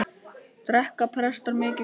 Drekka prestar mikið kók?